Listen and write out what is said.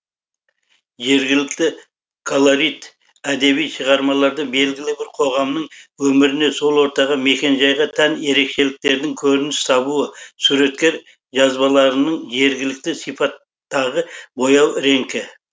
жергілікті колорит әдеби шығармаларда белгілі бір қоғамның өміріне сол ортаға мекенжайға тән ерекшеліктердің көрініс табуы суреткер жазбаларының жергілікті сипаттағы бояу реңкі